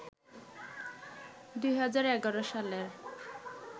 ২০১১ সালের